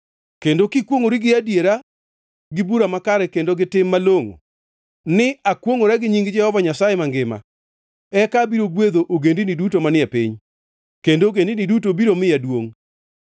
kendo kikwongʼori gi adiera gi bura makare kendo gi tim malongʼo ni, ‘Akwongʼora gi nying Jehova Nyasaye mangima,’ eka abiro gwedho ogendini duto manie piny kendo ogendini duto biro miya duongʼ.”